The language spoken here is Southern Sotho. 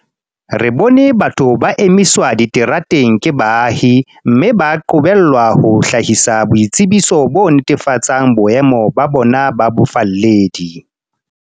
Re bone batho ba emiswa diterateng ke baahi, mme ba qobellwa ho hlahisa boitsebiso bo netefatsang boemo ba bona ba bofalledi.